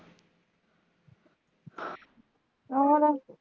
ਹੋਰ